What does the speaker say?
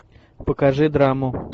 покажи драму